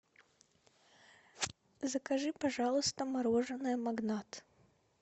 закажи пожалуйста мороженое магнат